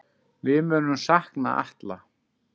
Við munum sakna Atla.